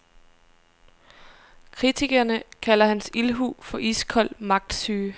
Kritikerne kalder hans ildhu for iskold magtsyge.